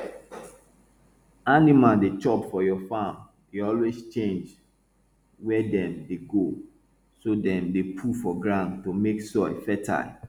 animal dey chop for your farm dey always change where dem dey go so dem dey poo for ground to make soil fertile